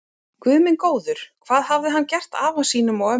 Guð minn góður, hvað hafði hann gert afa sínum og ömmu.